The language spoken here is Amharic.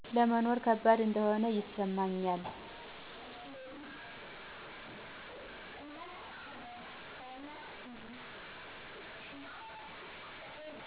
ለመኖር ከባድ እንደሆን ይሰማኛል።